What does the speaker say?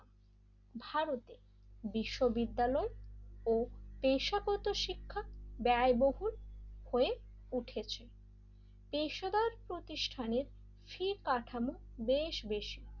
ভারতের বিশ্ববিদ্যালয় ও পেশাগত শিক্ষা ব্যয়বহুল হয়ে উঠেছে এইসবের প্রতিষ্ঠানে ফী কাঠামো বেশ বেশি,